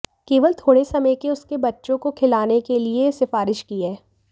केवल थोड़े समय के उसके बच्चे को खिलाने के लिए सिफारिश की है